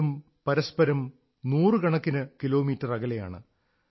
രണ്ടും പരസ്പരം നൂറുകണക്കിന് കിലോമീറ്റർ അകലെയാണ്